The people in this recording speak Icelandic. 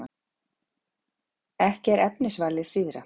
Ekki er efnisvalið síðra.